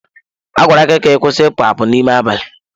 A gwara gị ka ị kwụsị ịpụ apụ n'ime abalị!